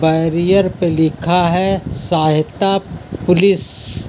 Barrier पे लिखा है सहायता पुलिस ।